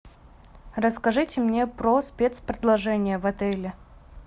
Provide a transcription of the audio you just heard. расскажите мне про спецпредложения в отеле